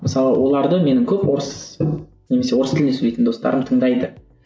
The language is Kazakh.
мысалы оларды менің көп орыс немесе орыс тілінде сөйлейтін достарым тыңдайды